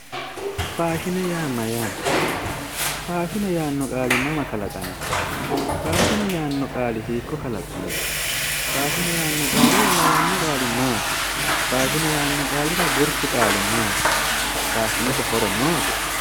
Faashine yaa mayyaate? Faashine yaanno qaali mama kalaqamino? Faashine yaanno qaali hiikko kalaqamino? Faashine yaanno qaalira lawanno qaali maati? Faashine yaanno qaalira gurchu qaali maati? Faashinete horo noose?